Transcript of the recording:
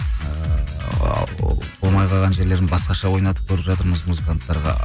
ыыы болмай қалған жерлерін басқаша ойнатып көріп жатырмыз музыканттарға